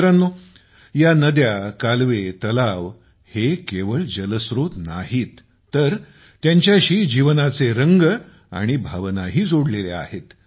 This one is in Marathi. मित्रांनो या नद्या कालवे तलाव हे केवळ जलस्रोत नाहीत तर त्यांच्याशी जीवनाचे रंग आणि भावनाही जोडलेल्या आहेत